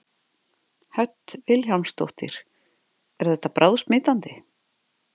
Hödd Vilhjálmsdóttir: Er þetta bráðsmitandi?